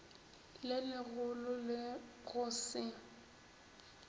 le legolo le go se